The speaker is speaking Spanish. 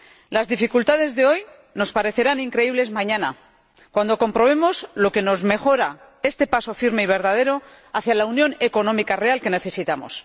Las dificultades de hoy nos parecerán increíbles mañana, cuando comprobemos lo que nos mejora este paso firme y verdadero hacia la unión económica real que necesitamos.